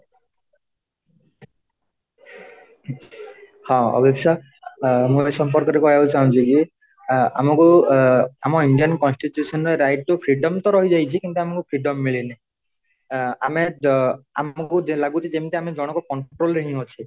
ହଁ ଅଭୀପ୍ସା ଅ ମୁଁ ଏ ସମ୍ପର୍କରେ କହିବାକୁ ଚାହୁଁଛି କି ଅ ଆ ଆମକୁ ଏ ଆମ indian constitution right to freedomତ ରହିଯାଇଛି କିନ୍ତୁ ଆମକୁ freedom ମିଳିନି ଏ ଅ ଆମେ ଆମକୁ ଯେମିତି ଲାଗୁଛି ଯେମିତି ଜଣକୁ control ରେ ହିଁ ଅଛି